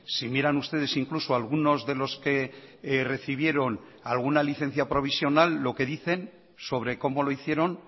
si miran ustedes incluso algunos de los que recibieron alguna licencia provisional lo que dicen sobre cómo lo hicieron